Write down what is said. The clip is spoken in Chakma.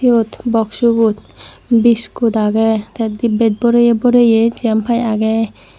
siyot boxubot biskut agey tey dibbet boreye boreye jempai agey.